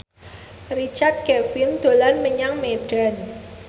Richard Kevin dolan menyang Medan